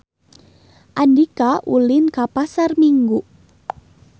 Andika ulin ka Pasar Minggu